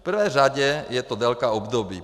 V prvé řadě je to délka období.